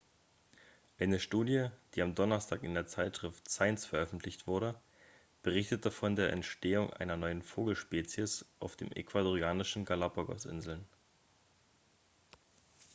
eine studie die am donnerstag in der zeitschrift science veröffentlicht wurde berichtete von der entstehung einer neuen vogelspezies auf den ecuadorianischen galápagos-inseln